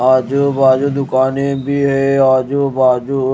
आजू बाजू दुकानें भी है आजू बाजू--